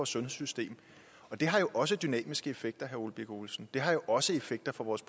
sundhedssystem det har jo også dynamiske effekter herre ole birk olesen det har jo også effekter for vores